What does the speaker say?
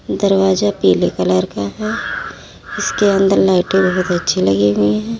दरवाज़ा पीले कलर का है जिसके अंदर लाइटें बहुत अच्छी लगी हुई हैं।